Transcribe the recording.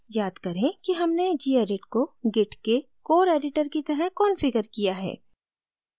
याद करें कि हमने gedit को git के core editor की तरह कॉन्फ़िगर किया है